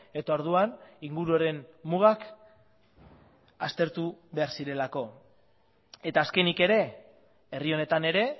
eta orduan inguruaren mugak aztertu behar zirelako eta azkenik ere herri honetan ere